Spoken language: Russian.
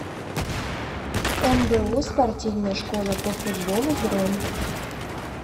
мбу спортивная школа по футболу бронь